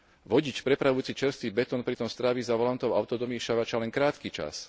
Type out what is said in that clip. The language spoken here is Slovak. Vodič prepravujúci čerstvý betón pritom strávi za volantom autodomiešavača len krátky čas.